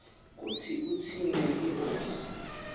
kutsi utsintse lihhovisi